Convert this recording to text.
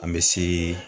An bɛ si